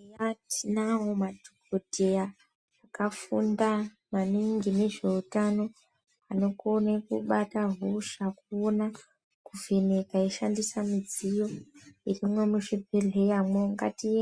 Eya tinawo madhokodheya akafunda maningi ngezveutano anokona kubata hosha ona kuvhenekwa kuvhenekwa eishandisa midziyo